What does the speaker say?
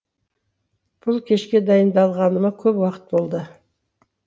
бұл кешке дайындалғаныма көп уақыт болды